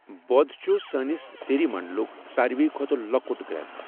بۄد چھُ سٲنِس سيٖری مَنٛڈُلُک ساروٕے کھۄتہٕ لۄکُٹ گرٛیٚد۔